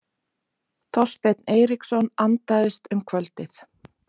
Þorsteinn Eiríksson andaðist um kvöldið.